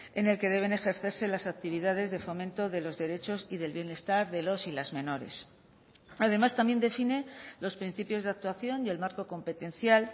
en el que deben ejercerse las actividades de fomento de los derechos y del bienestar de los y las menores además también define los principios de actuación y el marco competencial